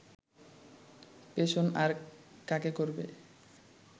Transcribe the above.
পেষণ আর কাকে করবে